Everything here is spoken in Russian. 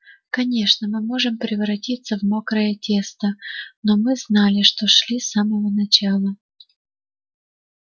конечно мы можем превратиться в мокрое место но мы знали на что шли с самого начала